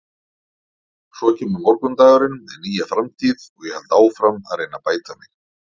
Svo kemur morgundagurinn með nýja framtíð og ég held áfram að reyna að bæta mig.